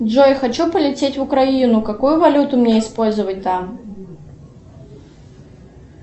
джой хочу полететь в украину какую валюту мне использовать там